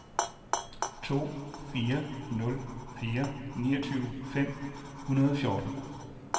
to fire nul fire niogtyve fem hundrede og fjorten